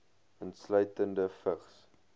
insluitende vigs